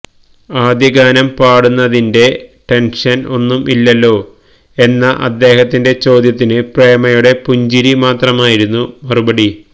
ആദ്യഗാനം പാടുന്നതിന്റെ ടെന്ഷന് ഒന്നും ഇല്ലല്ലോ എന്ന അദ്ദേഹത്തിന്റെ ചോദ്യത്തിന് പ്രേമയുടെ പുഞ്ചിരി മാത്രമായിരുന്നു മറുപടി